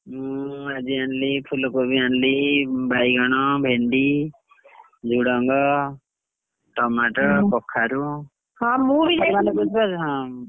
ହୁଁ ଆଜି ଆଣିଲି ଫୁଲକୋବି ଆଣିଲି, ବାଇଗଣ, ଭେଣ୍ଡି, ଝୁଡଙ୍ଗ tomato କଖାରୁ କଖାରୁ ମାନେ ବୁଝି ପାରୁଛ ହଁ?